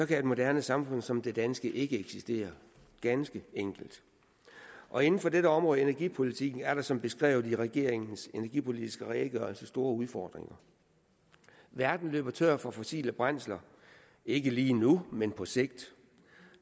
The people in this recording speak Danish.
kan et moderne samfund som det danske ikke eksistere ganske enkelt og inden for dette område af energipolitikken er der som beskrevet i regeringens energipolitiske redegørelse store udfordringer verden løber tør for fossile brændsler ikke lige nu men på sigt